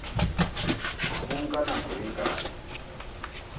ho nka nako e kae